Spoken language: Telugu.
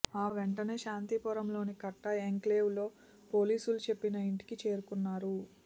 ఆ వెంటనే శాంతిపురంలోని కట్టా ఎన్క్లేవ్లో పోలీసులు చెప్పిన ఇంటికి చేరుకున్నారు